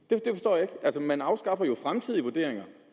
jeg ikke man afskaffer jo fremtidige vurderinger